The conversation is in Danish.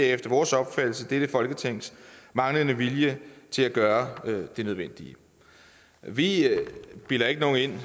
er efter vores opfattelse dette folketings manglende vilje til at gøre det nødvendige vi bilder ikke nogen ind